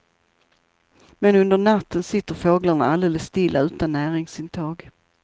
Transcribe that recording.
Men under natten sitter fåglarna alldeles stilla utan näringsintag.